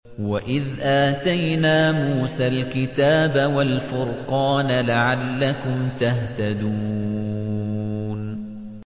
وَإِذْ آتَيْنَا مُوسَى الْكِتَابَ وَالْفُرْقَانَ لَعَلَّكُمْ تَهْتَدُونَ